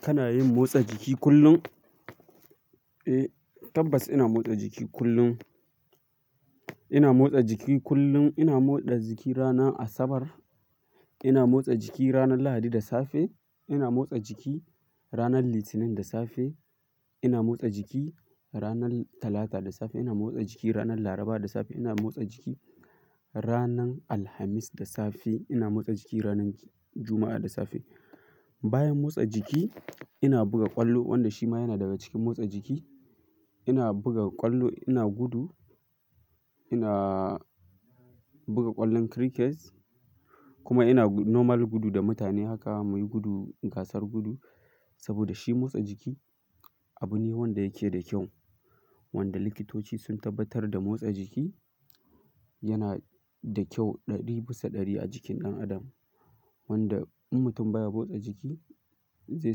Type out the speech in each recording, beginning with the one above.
Kana yin motsa jiki kullum? Eh, tabbas ina motsa jiki kullum. Ina motsa jiki kullum. Ina motsa jiki rana Asabar, ina motsa jiki ranar Lahadi da safe, ina motsa jiki ranar Litinin da safe, ina motsa jiki ranar Talata da safe, ina motsa jiki ranar Laraba da safe, ina motsa jiki ranar Alhamis da safe, ina motsa jiki ranar Juma'a da safe. Bayan motsa jiki ina buga ƙwallo wanda shi ma yana daga cikin motsa jiki. Ina buga ƙwallo, ina gudu, ina buga ƙwallon crickets kuma ina normal gudu da mutane haka muyi gudu gasar gudu saboda shi motsa jiki abu ne wanda yake da kyau. Wanda likitoci sun tabbatar da motsa jiki yana da kyau ɗari bisa ɗari a jikin ɗan adam. Wanda in mutum baya motsa jiki zai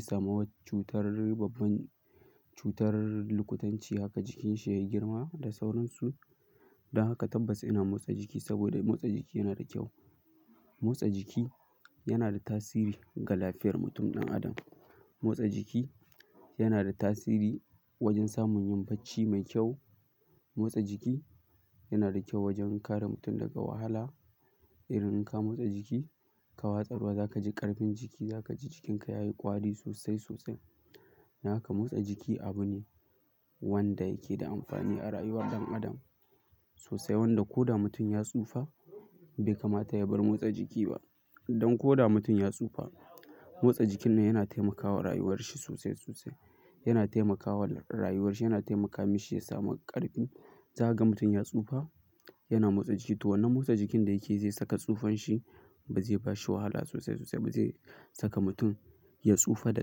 samu cutar babban cutar lukutanci haka jikinsa ya yi girma da sauransu. Don haka tabbas ina motsa jiki saboda motsa jiki yana da kyau. Motsa jiki yana da tasiri ga lafiyar mutum ɗan adam. Motsa jiki yana da tasiri wajen samun yin bacci mai kyau. Motsa jiki yana da kyau wajen kare mutum daga wahala. Irin in ka motsa jiki ka watsa ruwa za ka ji ƙarfin jiki, za ka ji jikinka ya yi ƙwari sosai sosai. Haka motsa jiki abu ne wanda yake da amfani a rayuwar ɗan adam sosai. Wanda ko da mutum ya tsufa bai kamata ya bar motsa jiki ba. Don ko da mutum ya tsufa motsa jikin nan yana taimakawa rayuwar shi sosai sosai. Yana taimakawa rayuwar shi, yana taimakawa mishi ya samu ƙarfi. Za ka ga mutum ya tsufa yana motsa jiki to wannan motsa jikin da yake zai saka tsufan shi ba zai bashi wahala sosai sosai. Ba zai saka mutum ya tsufa da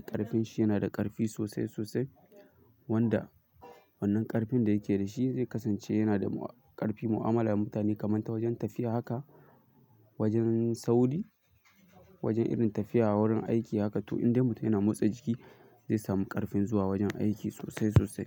ƙarfin shi yana da ƙarfi sosai sosai wanda wannan ƙarfin da yake da shi zai kasance yana da ƙarfi mu'amala da mutane. Kamanta wajen tafiya haka, wajen sauri, wajen irin tafiya wurin aiki haka. To in dai mutum yana motsa jiki zai samu ƙarfin zuwa wajen aiki sosai sosai.